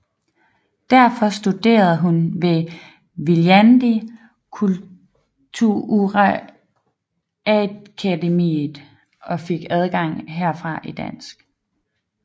Derfor studerede hun ved Viljandi Kultuuriakadeemia og fik afgang herfra i dans